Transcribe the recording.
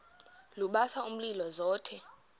lubasa umlilo zothe